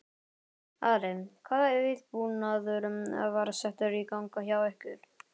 Ari, hvaða viðbúnaður var settur í gang hjá ykkur?